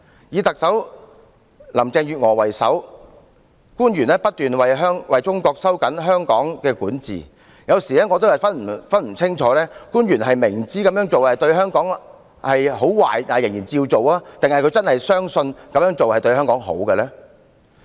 以特首林鄭月娥為首，官員不斷為中國收緊對香港的管治，有時我也無法辨清，官員是明知這樣做對香港會有很壞的影響但仍照做，還是真的相信這樣做對香港有利呢？